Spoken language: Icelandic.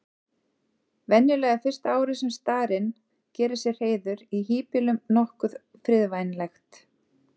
Venjulega er fyrsta árið sem starinn gerir sér hreiður í híbýlum nokkuð friðvænlegt.